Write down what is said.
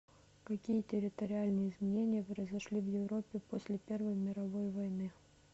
какие территориальные изменения произошли в европе после первой мировой войны